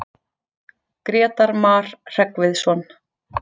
Grétar Mar Hreggviðsson.